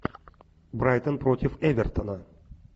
брайтон против эвертона